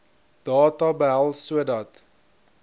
data behels sodat